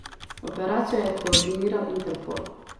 Operacijo je koordiniral Interpol.